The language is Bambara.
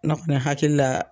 N'a kɔni hakili la.